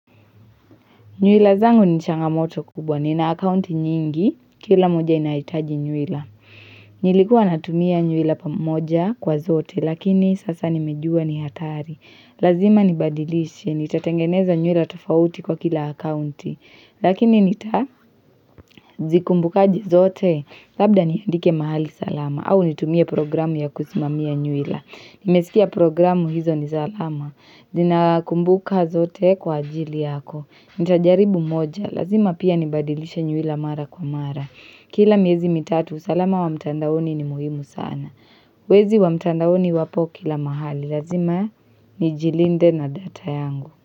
Nyuila zangu ni changamoto kubwa, nina akaunti nyingi, kila moja inahitaji nyuila. Nilikua natumia nyuila pamoja kwa zote, lakini sasa nimejua ni hatari. Lazima nibadilishi, nitatengeneza nyuila tofauti kwa kila akaunti, lakini nitazikumbukaje zote labda niandike mahali salama au nitumie programu ya kusimamia nyuila. Nimesikia programu hizo ni salama, zinakumbuka zote kwa ajili yako. Nita jaribu moja, lazima pia nibadilisha nywila mara kwa mara Kila miezi mitatu, usalama wa mtandaoni ni muhimu sana Wezi wa mtandaoni wapo kila mahali, lazima ni jilinde na data yangu.